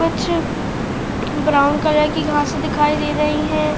कुछ brown colour की घांसे दिखाई दे रही हैं।